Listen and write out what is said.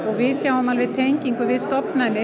við sjáum tengingu við stofnanir